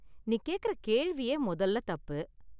நீ கேக்கற கேள்வியே மொதல்ல தப்பு!